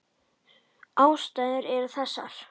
Ástæður eru þessar